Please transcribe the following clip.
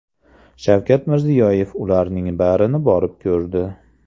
Shavkat Mirziyoyev ularning barini borib ko‘rdi.